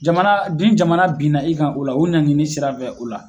Jamana ni jamana binna i kan o la o ɲangili sira fɛ o la